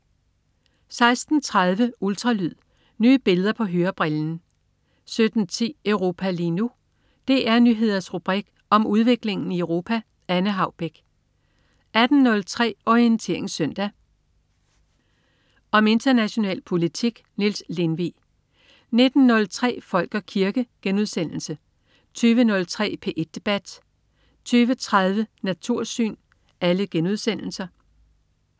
16.30 Ultralyd. Nye billeder på hørebrillen 17.10 Europa lige nu. DR Nyheders rubrik om udviklingen i Europa. Anne Haubek 18.03 Orientering Søndag. Om international politik. Niels Lindvig 19.03 Folk og kirke* 20.03 P1 debat* 20.30 Natursyn*